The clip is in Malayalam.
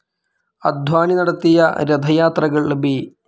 അദ്വാനി നടത്തിയ രഥ യാത്രകൾ ബി.